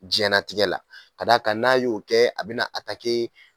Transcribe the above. Jiyɛnnatigɛ la ka d'a kan n'a y'o kɛ a bɛna